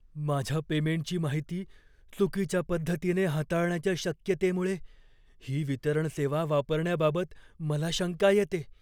माझ्या पेमेंटची माहिती चुकीच्या पद्धतीने हाताळण्याच्या शक्यतेमुळे, ही वितरण सेवा वापरण्याबाबत मला शंका येते.